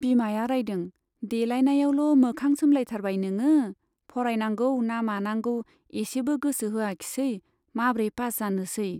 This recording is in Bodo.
बिमाया रायदों , 'देलाइनायावल' मोखां सोमलायथारबाय नोङो , फरायनांगौ ना मानांगौ एसेबो गोसो होआखिसै, माब्रै पास जानोसै।